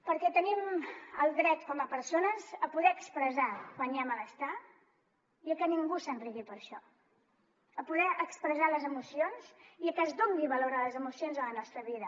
perquè tenim el dret com a persones a poder expressar quan hi ha malestar i a que ningú se’n rigui per això a poder expressar les emocions i a que es doni valor a les emocions a la nostra vida